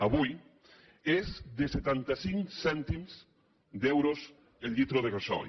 avui és de setanta cinc cèntims d’euro el litre de gasoil